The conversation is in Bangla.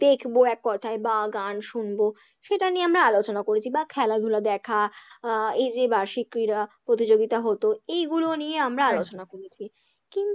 দেখবো এক কথায় বা গান শুনবো সেটা নিয়ে আমরা আলোচনা করেছি, বা খেলাধুলা দেখা আহ এই যে বার্ষিক ক্রীড়া প্রতিযোগিতা হতো এইগুলো নিয়ে আমরা আলোচনা করেছি, কিন্তু